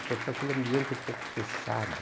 Então fica aquele ambiente um pouco fechado.